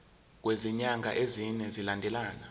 kwezinyanga ezine zilandelana